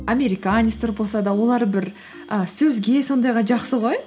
американецтер болса да олар бір і сөзге сондайға жақсы ғой